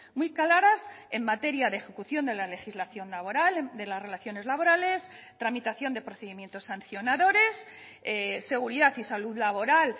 muy claras en materia de ejecución de la legislación laboral de las relaciones laborales tramitación de procedimientos sancionadores seguridad y salud laboral